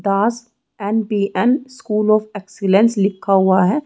Das and B. M. School of excellence लिखा हुआ है।